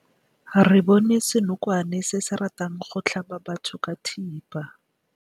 Re bone senokwane se se ratang go tlhaba batho ka thipa.